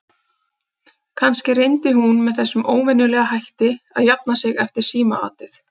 Kannski reyndi hún með þessum óvenjulega hætti að jafna sig eftir símaatið.